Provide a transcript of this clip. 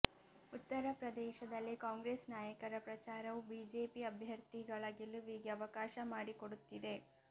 ಉತ್ತರ ಪ್ರದೇಶದಲ್ಲಿ ಕಾಂಗ್ರೆಸ್ ನಾಯಕರ ಪ್ರಚಾರವು ಬಿಜೆಪಿ ಅಭ್ಯರ್ಥಿಗಳ ಗೆಲುವಿಗೆ ಅವಕಾಶ ಮಾಡಿಕೊಡುತ್ತಿದೆ